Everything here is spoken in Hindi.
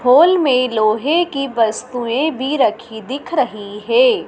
होल में लोहे की वस्तुएं भी रखी दिख रही हे ।